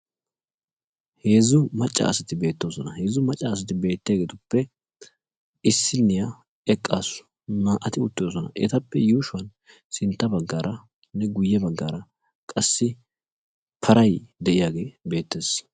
Heezzu macca asati beettoosona. heezzu macca asati beettiyaagetuppe issiniyaa eqqaasu naa"ati uttidosona. etappe yuushshuwaan sintta baggaaranne guye baggaara qassi paray de'iyaagee beettees.